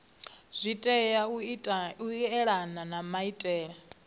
tea u elana na maitele